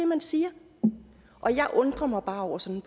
man siger og jeg undrer mig bare over sådan